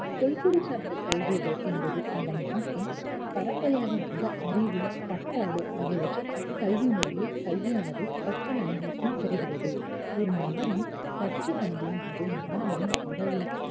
தொல்குடி சார்ந்த கல்விகள் என்பது அந்த நாட்டில் பரம்பரையாக வந்த அறிவு, பண்பாடு ஆகியவற்றையும் கல்வி முறையில் கல்வியானது கற்றல் அனுபவத்தில் பெறுகிறது ஒரு நபரின் கற்றல் அனுபவம் அது மாணவரின் உடலில்